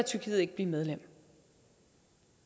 tyrkiet ikke blive medlem